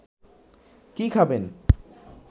কি খাবেন